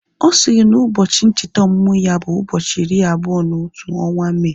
Ọ sịrị na ụbọchị ncheta ọmụmụ ya bụ ụbọchị iri abụọ na otu ọnwa Mee